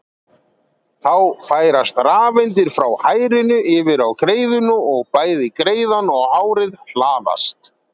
Þá færast rafeindir frá hárinu yfir á greiðuna og bæði greiðan og hárið hlaðast.